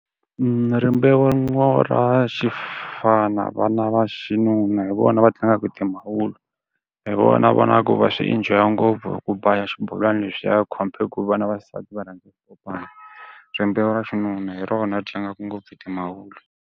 rimbewu ra xifana va na va xinuna hi vona va tlangaka timavuri. Hi vona ni vonaka ku va swi enjoy-a ngopfu ku ba xibolwani lexiya compared ku vana va xisati va rhandzaka swipopana. Rimbewu ra xinuna hi rona tlangaka ngopfu timavuri.